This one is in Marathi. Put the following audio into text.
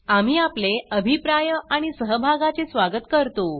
आम्ही आपले अभिप्राय आणि सहभागाचे स्वागत करतो